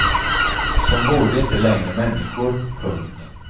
Som vore de inte längre människor. punkt